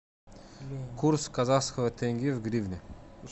курс казахского тенге в гривны